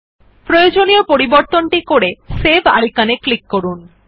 প্রয়োজনীয় পরিবর্তন করে সেভ আইকন এ ক্লিক করুন